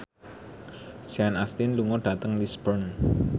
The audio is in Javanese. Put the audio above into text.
Sean Astin lunga dhateng Lisburn